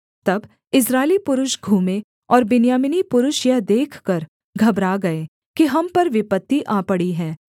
तब इस्राएली पुरुष घूमे और बिन्यामीनी पुरुष यह देखकर घबरा गए कि हम पर विपत्ति आ पड़ी है